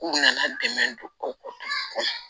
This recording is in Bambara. K'u nana dɛmɛ don ko kɔnɔ